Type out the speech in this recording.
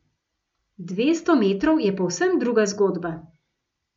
Dvesto metrov je povsem druga zgodba.